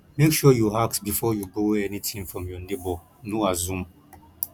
make sure you ask before you borrow anything from your neighbor no assume